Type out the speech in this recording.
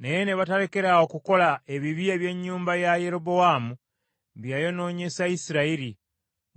Naye ne batalekaayo kukola ebibi eby’ennyumba ya Yerobowaamu bye yayonoonyesa Isirayiri,